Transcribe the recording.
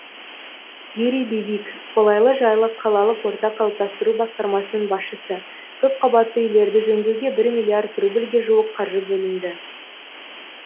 юрий бибик қолайлы жайлы қалалық орта қалыптастыру басқармасының басшысы көпқабатты үйлерді жөндеуге бір миллиард рубльге жуық қаржы бөлінді